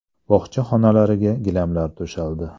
Bog‘cha xonalariga gilamlar to‘shaldi.